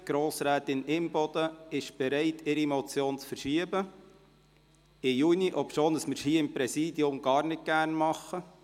Grossrätin Imboden ist bereit, ihre Motion auf die Junisession zu verschieben, obwohl wir seitens des Präsidium dergleichen gar nicht gerne tun.